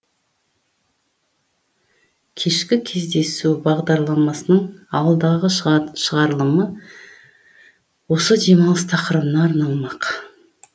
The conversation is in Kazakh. кешкі кездесу бағдарламасының алдағы шығарылымы осы демалыс тақырыбына арналмақ